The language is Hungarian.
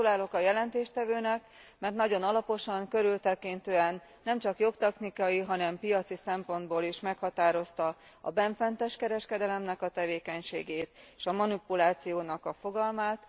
Gratulálok a jelentéstevőnek, mert nagyon alaposan, körültekintően nemcsak jogtechnikai, hanem piaci szempontból is meghatározta a bennfentes kereskedelem tevékenységét, és a manipuláció fogalmát.